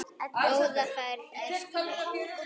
Góða ferð, gæskur.